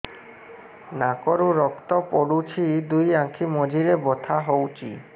ନାକରୁ ରକ୍ତ ପଡୁଛି ଦୁଇ ଆଖି ମଝିରେ ବଥା ହଉଚି